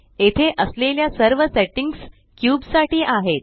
येथे असलेल्या सर्व सेट्टिंग्स क्यूब साठी आहेत